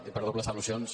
i per dobles al·lusions